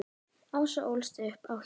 Ása ólst upp á Hjalla.